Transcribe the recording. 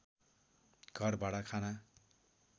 घरभाडा खाना